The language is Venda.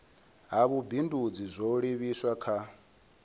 ha vhubindudzi zwo livhiswa kha